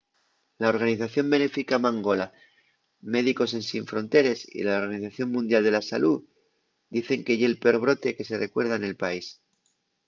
la organización benéfica mangola médicos ensin fronteres y la organización mundial de la salú dicen que ye’l peor brote que se recuerda nel país